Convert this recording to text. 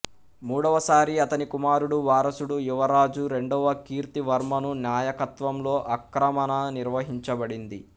మూడవసారి అతని కుమారుడు వారసుడు యువరాజు రెండవ కీర్తివర్మను నాయకత్వంలో ఆక్రమణ నిర్వహించబడింది